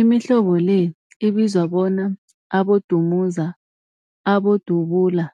Imihlobo le ibizwa bona, abodumuza, abodubula,